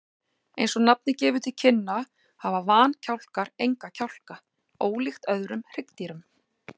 Eins og nafnið gefur til kynna hafa vankjálkar enga kjálka, ólíkt öllum öðrum hryggdýrum.